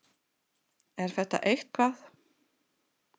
Er þetta eitthvað?